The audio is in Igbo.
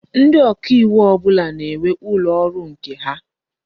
Ndi oka iwu ọbụla na-enwe ụlọ ọrụ nke ha.